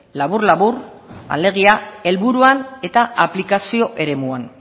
labur labur alegia helburuan eta aplikazio eremuan